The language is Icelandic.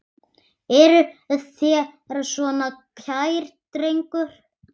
Eruð þér svona kær drengur?